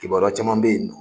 Kibaruya caman bɛ ye